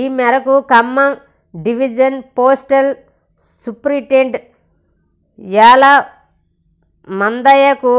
ఈ మేరకు Khammam division postal superintendent యలమందయ్యకు